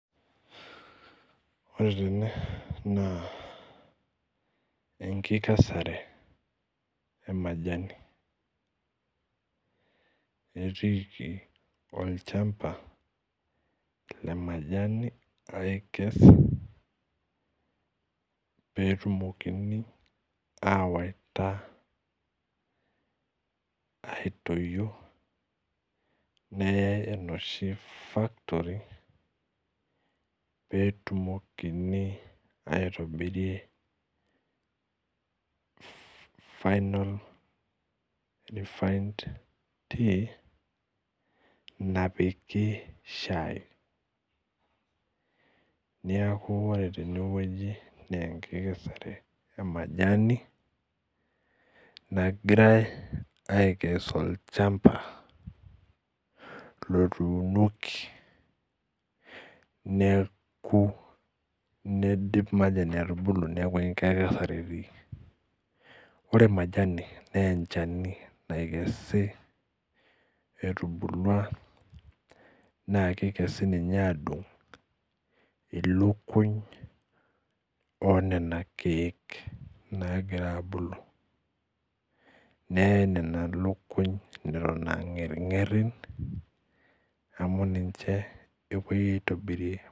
Ore tene na enkikesare emajani etiiki tolchamba lemajini aikes petumokini awaita aitoyio neyaule enoshi factory petumokini aitobirie final refined tea napiki shai neaku ore tene na enkikesare emajani nagirai aikes olchamba otuunoki nidip majani atubulu neaku enkikesare etiiki ore majani na emchani naikesi etudumua na kakesi ninche ilikuny onana kiek nagira abuli neaen nona likua amu ninche epuoi aitobirie.